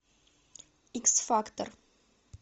икс фактор